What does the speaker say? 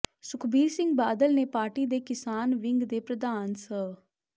ਸੁਖਬੀਰ ਸਿੰਘ ਬਾਦਲ ਨੇ ਪਾਰਟੀ ਦੇ ਕਿਸਾਨ ਵਿੰਗ ਦੇ ਪ੍ਰਧਾਨ ਸ